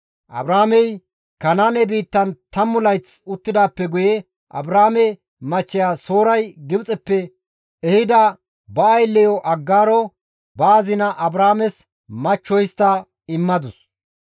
Abraamey Kanaane biittan tammu layth uttidaappe guye Abraame machcheya Sooray Gibxeppe ehida ba aylleyo Aggaaro, ba azina Abraames machcho histta immadus.